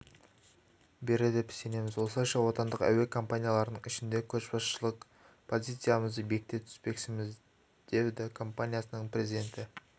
береді деп сенеміз осылайша отандық әуе компанияларының ішінде көшбасшылық позициямызды бекіте түспекпіз деді компаниясының президенті